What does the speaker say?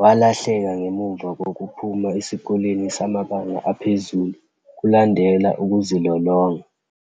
walahleka ngemuva kokuphuma esikoleni samabanga aphezulu kulandela ukuzilolonga.